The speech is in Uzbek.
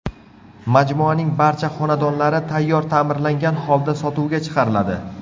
Majmuaning barcha xonadonlari tayyor ta’mirlangan holda sotuvga chiqariladi.